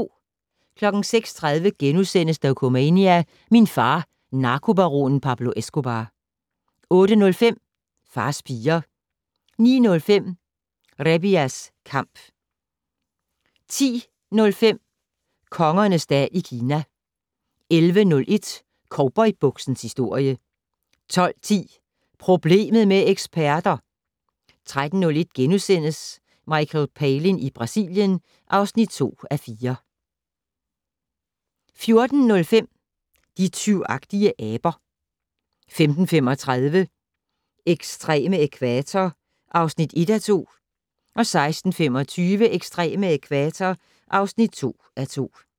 06:30: Dokumania: Min far - narkobaronen Pablo Escobar * 08:05: Fars piger 09:05: Rebiya's Kamp 10:05: Kongernes dal i Kina 11:01: Cowboybuksens historie 12:10: Problemet med eksperter! 13:01: Michael Palin i Brasilien (2:4)* 14:05: De tyvagtige aber 15:35: Ekstreme ækvator (1:2) 16:25: Ekstreme ækvator (2:2)